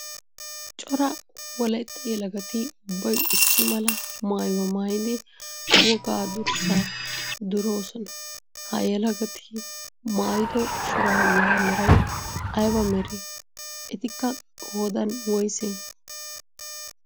Cora wolaytta yelagatti ubbayi issi mala maayuwaa maayiddi wogaa durssaa durossonna, ha yelagatti maayido shuraabiya meray aybba meree? Etikka qoodan woysse?